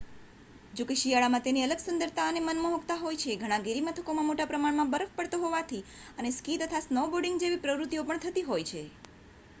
જો કે શિયાળા માં તેની અલગ સુંદરતા અને માનમોહક્તા હોય છે ઘણા ગિરીમથકોમાં મોટા પ્રમાણ માં બરફ પડતો હોવાથી અને સ્કી તથા સ્નોબોર્ડિંગ જેવી પ્રવૃતિઓ પણ થતી હોય છે